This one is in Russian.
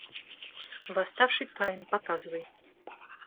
восставший каин показывай